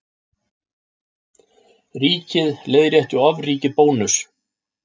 Ríkið leiðrétti ofríki Bónuss